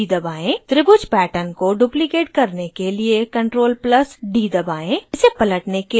त्रिभुज pattern को duplicate करने के लिए ctrl + d दबाएं इसे पलटने के लिए v दबाएं